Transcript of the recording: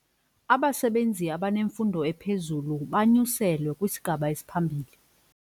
Abasebenzi abanemfundo ephezulu banyuselwe kwisigaba esiphambili.